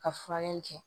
Ka furan kɛ